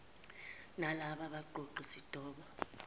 nalaba baqoqi sidoda